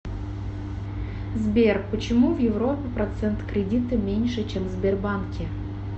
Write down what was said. сбер почему в европе процент кредита меньше чем в сбербанке